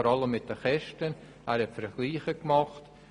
Er hat insbesondere Kostenvergleiche angestellt.